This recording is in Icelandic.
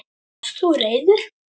Varst þú reiður?